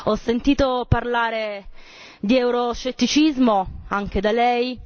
Ho sentito parlare di euroscetticismo anche da lei.